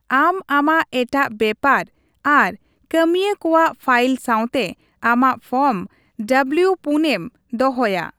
ᱟᱢ ᱟᱢᱟᱜ ᱮᱴᱟᱜ ᱵᱮᱯᱟᱨ ᱟᱨ ᱠᱟᱹᱢᱤᱭᱟᱹ ᱠᱚᱣᱟᱜ ᱯᱷᱟᱭᱤᱞ ᱥᱟᱶᱛᱮ ᱟᱢᱟᱜ ᱯᱷᱚᱨᱢ ᱰᱟᱵᱽᱞᱤᱣᱼ᱔ ᱮᱢ ᱫᱚᱦᱚᱭᱟ ᱾